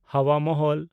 ᱦᱟᱣᱟ ᱢᱚᱦᱚᱞ